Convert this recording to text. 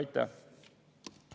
Aitäh!